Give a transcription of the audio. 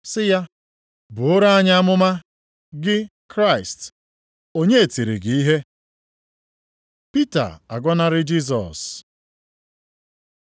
sị ya, “Buoro anyị amụma, gị, Kraịst. Onye tiri gị ihe?” Pita agọnarị Jisọs